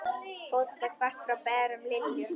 Fótatak barst frá berum iljum.